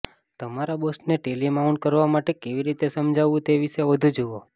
તમારા બોસને ટેલિમાઉન્ટ કરવા માટે કેવી રીતે સમજાવવું તે વિશે વધુ જુઓ